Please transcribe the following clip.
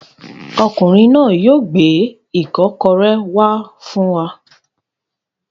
Ọkùnrin náà yóò gbé ìkọ́kọrẹ́ wá fún wa.